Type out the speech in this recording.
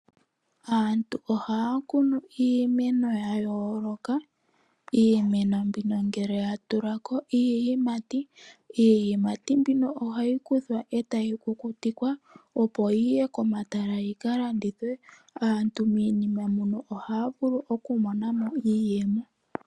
Aantu ohaya kunu iimeno ya yooloka. Iimeno mbino ngele ya tula ko iiyimati, iiyimati mbino ohayi kuthwa e tayi kukutikwa opo yi ye komatala yika landithwe. Aantu miinima muno ohaa vulu okumona mo iiyemo.